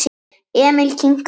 Emil kinkaði kolli.